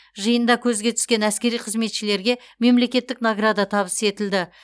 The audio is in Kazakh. жиында көзге түскен әскери қызметшілерге мемлекеттік награда табыс етілді